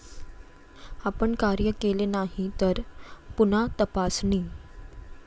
आपण कार्य केले नाही तर, पुन्हा तपासणी.